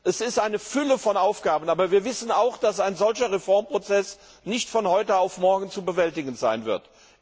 Es gibt eine Fülle von Aufgaben, aber wir wissen auch, dass ein solcher Reformprozess nicht von heute auf morgen zu bewältigen sein wird.